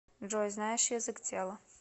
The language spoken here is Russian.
джой знаешь язык тела